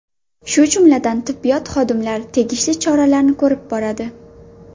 Shu jumladan tibbiyot xodimlari tegishli choralarni ko‘rib boradi.